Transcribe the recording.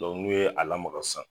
n'u ye a lamaga san